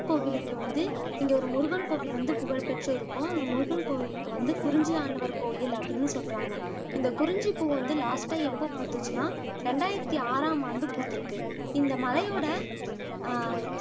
கோவிலுக்கு வந்து இங்க ஒரு முருகன் கோவில் வந்து புகழ் பெற்று இருக்கும் அந்த முருகன் கோவிலுக்கு வந்து குறிஞ்சி ஆண்டவர் கோவில் அப்படின்னு சொல்லுறாங்க இந்த குறிஞ்சி பூ வந்து லாஸ்ட்டா எப்போ பூத்துச்சு அப்படின்னா ரெண்டாயிரத்தி ஆறாம் ஆண்டு பூத்திருக்கு இந்த மலையோட அஹ்